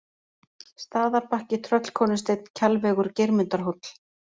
Staðarbakki, Tröllkonusteinn, Kjalvegur, Geirmundarhóll